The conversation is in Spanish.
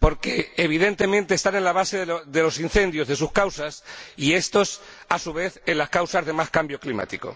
porque, evidentemente, están en la base de los incendios, de sus causas y estos, a su vez, en las causas de más cambio climático.